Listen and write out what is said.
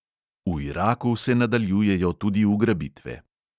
V iraku se nadaljujejo tudi ugrabitve.